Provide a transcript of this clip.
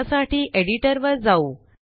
त्यासाठी एडिटरवर जाऊ